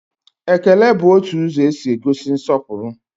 Ekele bụ otu ụzọ e si egosi nsọpụrụ